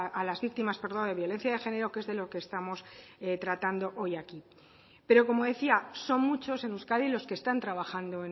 a las víctimas de violencia de género que es de lo que estamos tratando hoy aquí pero como decía son muchos en euskadi los que están trabajando